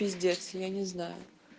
пиздец я не знаю